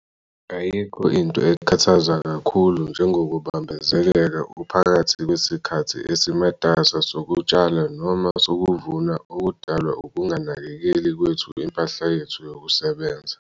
Ayikho into ekhathaza kakhulu njengokubambezeleka uphakathi kwesikhathi esimatasa sokutshala noma sokuvuna okudalwa ukunganakekeli kwethu impahla yethu yokusebenza.